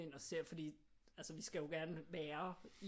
Ind og se fordi vi skal jo gerne være